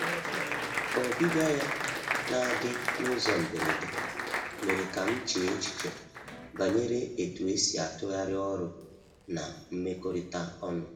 Ọbịbịa ya na-adị n’ụzọ mberede mere ka m chee echiche banyere etu esi atụgharị ọrụ na mmekọrịta ọnụ.